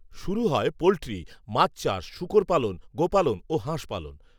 শুরু হয় পোলট্রি, মাছ চাষ, শূকর পালন, গোপালন ও, হাঁসপালন